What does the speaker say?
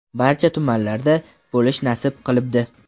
barcha tumanlarda bo‘lish nasib qilibdi.